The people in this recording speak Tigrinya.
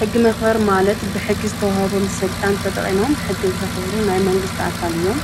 ሕጊ መኽበር ማለት ብሕጊ ዝተውሃቦም ሥልጣን ተጠቒሞም ሕጊ ብዝኽብሩ ናይ መንግሥቲ ኣካል እዮም